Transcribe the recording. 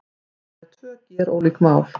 Þetta eru tvö gerólík mál